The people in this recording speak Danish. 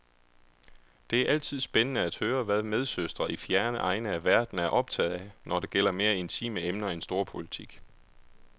Det er altid spændende at høre, hvad medsøstre i fjerne egne af verden er optaget af, når det gælder mere intime emner end storpolitik.